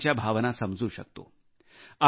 मी त्यांच्या भावना समजू शकतो